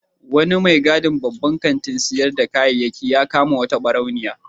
Wani mai gadin babban kantin sayar da kayayyaki ya kama wata ɓarauniya.